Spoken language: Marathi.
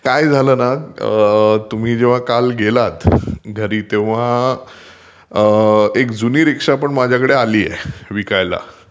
काय झाल ना तुम्ही काल जेव्हा घरी गेलात तेव्हा एक रीक्षापण आलीय माझ्याकडे विकायला.